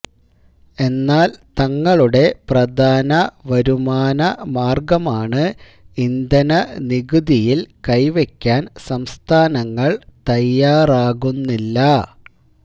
എന്നാൽ തങ്ങളുടെ പ്രധാന വരുമാനമാർഗമാണ് ഇന്ധനനികുതിയിൽ കൈവെക്കാൻ സംസ്ഥാനങ്ങള് തയ്യാറാകുന്നില്ല